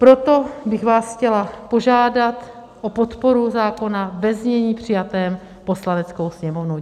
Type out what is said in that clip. Proto bych vás chtěla požádat o podporu zákona ve znění přijatém Poslaneckou sněmovnou.